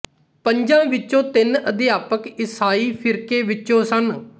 ਪੰਜਾਂ ਵਿੱਚੋਂ ਤਿੰਨ ਅਧਿਆਪਕ ਈਸਾਈ ਫ਼ਿਰਕੇ ਵਿੱਚੋਂ ਸਨ